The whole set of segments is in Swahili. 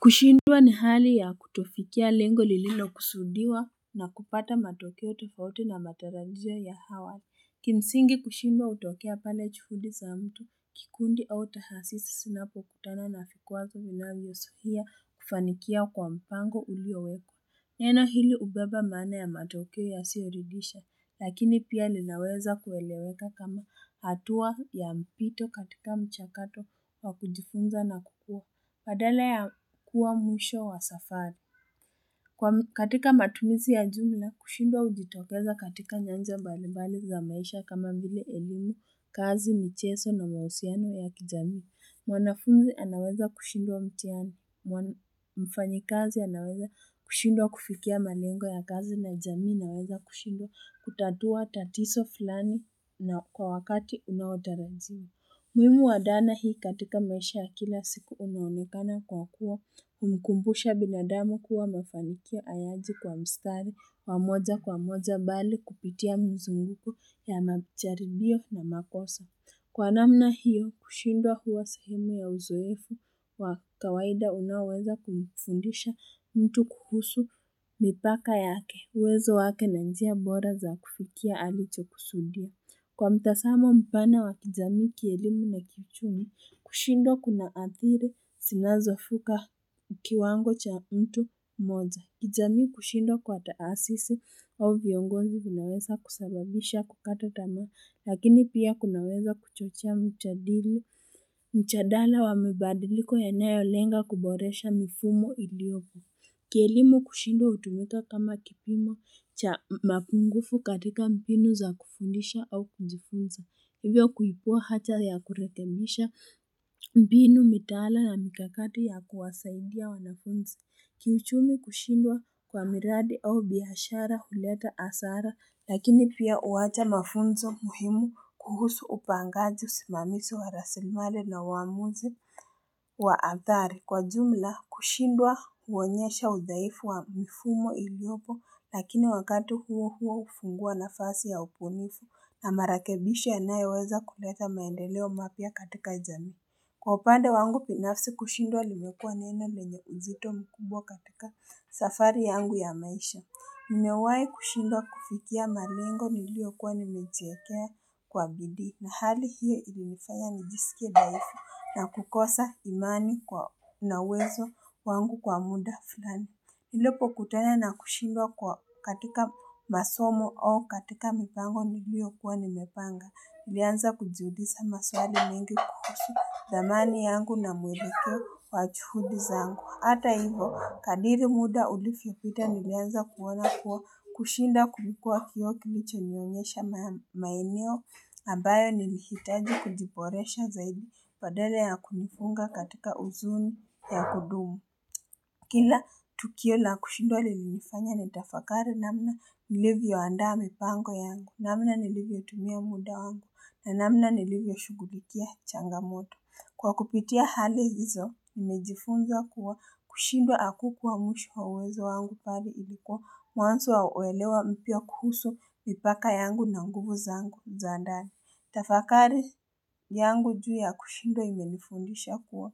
Kushindwa na hali ya kutofikia lengo lililo kusudiwa na kupata matokeo tufauti na matarajio ya awali kimsingi, kushindua hutokea pale juhudi za mtu kikundi au tahasisi zinapo kutana na vikwazo vinavyo zuhia kufanikia kwa mpango uliowekwa neno hili hubeba maana ya matokeo yasioridhisha lakini pia linaweza kueleweka kama hatua ya mpito katika mchakato wa kujifunza na kukua Baadala ya kuwa mwisho wa safari. Katika matumizi ya jumla, kushindwa ujitokeza katika nyanja balibali za maisha kama vile elimi, kazi, micheso na mahusiano ya kijami. Mwanafunzi anaweza kushindwa mtihani, mfanyikazi anaweza kushindwa kufikia malengo ya kazi na jamii inaweza kushindwa kutatua tatizo fulani na kwa wakati unaotarajiwa. Muhimu wa dhana hii katika maisha ya kila siku unaunekana kwa kuwa, humkumbusha binadamu kuwa mafanikio hayaji kwa mstari, wamoja kwa moja bali kupitia mzunguko ya majaribio na makosa. Kwa namna hiyo, kushindwa huwa sahimu ya uzoefu wa kawaida unaweza kumfundisha mtu kuhusu mipaka yake, uwezo wake na njia bora za kufikia alicho kusudia. Kwa mtazamo mpana wa kijami kielimu na kiuchumi, kushindwa kuna athiri sinazofika kiwango cha mtu mmoja. Kijami kushindwa kwa taasisi au viongonzi vinaweza kusababisha kukata tamaa lakini pia kunaweza kuchochea mjadili mjadala wa mbadiliko ya nayo lenga kuboresha mifumo iliopo. Kielimu kushindwa utumika kama kipimo cha mapungufu katika mbinu za kufunisha au kuzifunza, hivyo kuibua haja ya kurekebisha mbinu mitaala na mikakati ya kuwasaidia wanafunzi. Kiuchumi kushindwa kwa miradi au biashara huleta hasara, lakini pia huwacha mafunzo muhimu kuhusu upangaji usimamizi wa rasimali na uwamuzi wa athari. Kwa jumla, kushindwa huonyesha udaifu wa mifumo iliopo lakini wakatu huo huo hufungua nafasi ya ubunifu na marekebisho yanayoweza kuleta maendeleo mapia katika jamii. Kwa upande wangu binafsi kushindwa limekua neno lenye uzito mkubwa katika safari yangu ya maisha. Nimewai kushindwa kufikia malengo niliokuwa nimejiekea kwa bidii na hali hiyo ilinifaya nijisike dhaifu na kukosa imani na unawezo wangu kwa muda fulani. Nilipo kutana na kushindwa katika masomo au katika mipango niliyokuwa nimepanga. Nilianza kujiuliza maswali mingi kuhusu dhamani yangu na muelekeo wa juhudi zangu. Hata hivo, kadri muda ulivyopita nilianza kuona kuwa kushinda kulikua kioo kilicho nionesha maeneo. Ambayo nilihitaji kujiboresha zaidi badala ya kujifunga katika uzuni ya kudumu. Kila tukio na kushidwa lilinifanya nitafakari namna nilivyo andaa mipango yangu, namna nilivyo tumia muda wangu, na namna nilivyo shugulikia changamoto. Kwa kupitia hali hizo, nimejifunza kuwa kushindwa hakukua mwisho wa uwezo wangu mbali lilikuwa, mwanzo wa uelewa mpya kuhusu mipaka yangu na nguvu zangu za ndani. Tafakari yangu juu ya kushindwa imenifundisha kuwa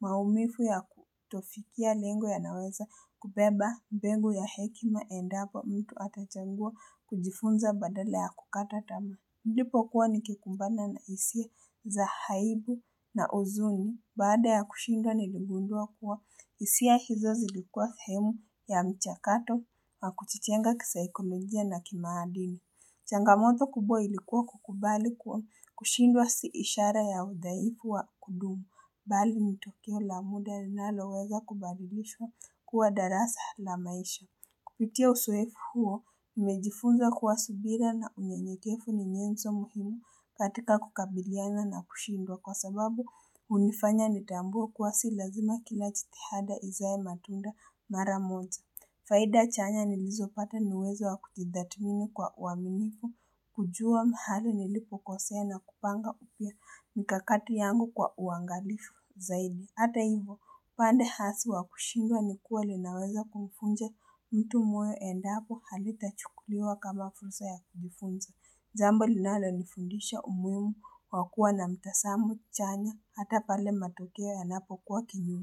maumivu ya kutofikia lengo yanaweza kubeba mbegu ya hekima endapo mtu atachangua kujifunza baadala ya kukata tamaa. Nilipo kuwa nikikumbana na hisia za aibu na uzuni baada ya kushindwa ni ligundua kuwa hisia hizo zilikua sehemu ya mchakato wa kujijenga kisaikolojia na kimaahadili. Changamoto kubwa ilikuwa kukubali kuwa kushindwa si ishara ya udhaifu wa kudumu. Bali ni tukio la muda linaloweza kubabilishwa kuwa darasa la maisha. Kupitia uzoefu huo, nimejifunza kuwa subira na unyeyekevu ni nyanzo muhimu katika kukabiliana na kushindwa kwa sababu hunifanya nitambue kuwa si lazima kila jitihada izae matunda mara moja. Faida chanya nilizopata ni uwezo wakujidhatimini kwa uaminifu, kujua mahali nilipokosea na kupanga upya mikakati yangu kwa uangalifu zaidi. Hata hivyo, pande hasi wa kushindwa ni kuwa linaweza kumvunja mtu moyo endapo halita chukuliwa kama fursa ya kujigunza. Jambo linalo nifundisha umuhimu wa kuwa na mtazamo chanya, hata pale matokeo yanapokuwa kinyume.